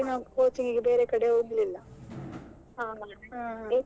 ಹಾಗೆ ಅಲ್ಲಿ ತುಂಬಾ gap ಆಯ್ತಲ್ಲ ಮತ್ತೆ ಎಲ್ಲಿ ಬೇರೆ ಕಡೆ coaching ಗೆ ಬೇರೆ ಕಡೆ ಹೋಗ್ಲಿಲ್ಲ.